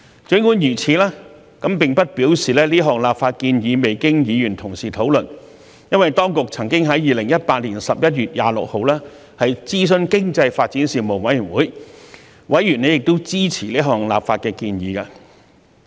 儘管如此，並不表示這項立法建議未經議員討論，因為當局曾經在2018年11月26日諮詢經濟發展事務委員會，委員亦支持這項立法建議。